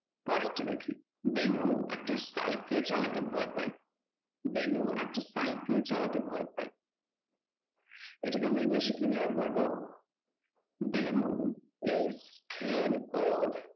পরেরটা দেখি বেনু একটা সাইকেল চালাতে ভয় পায়, বেনু একটা সাইকেল চালাতে ভয় পায় এটাকে আমরা english এ কিভাবে বলবো? benu is creed